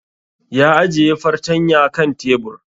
Ya ajiye fartanya kan tebur